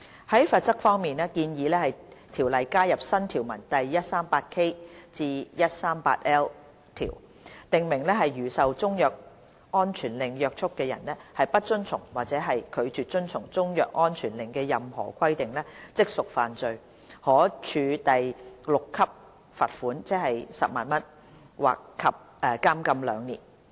在罰則方面，建議《條例》加入新條文第 138K 至 138L 條，訂明如受中藥安全令約束的人不遵從或拒絕遵從中藥安全令的任何規定，即屬犯罪，可處第6級罰款，即10萬元及監禁兩年。